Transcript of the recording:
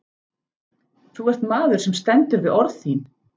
Þú ert maður sem stendur við orð þín.